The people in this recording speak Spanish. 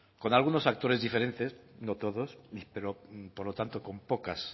con algunos actores diferentes no todos per opor lo tanto con pocas